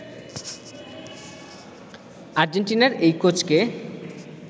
আর্জেন্টিনার এই কোচকে